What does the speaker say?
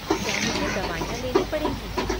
क्या मुझे दवाइयाँ लेनी पड़ेंगी?